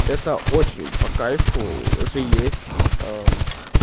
это очень по кайфу уже есть